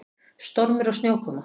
Stormur og snjókoma.